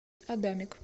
адамик